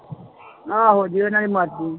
ਆਹੋ ਜੇ ਉਹਨਾਂ ਦੀ ਮਰਜ਼ੀ।